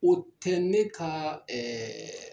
O tɛ ne ka ɛɛ